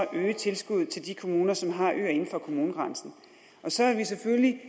at øge tilskuddet til de kommuner som har øer inden for kommunegrænsen så vil vi selvfølgelig